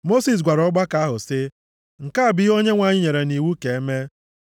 Mosis gwara ọgbakọ ahụ sị, “Nke a bụ ihe Onyenwe anyị nyere nʼiwu ka e mee.”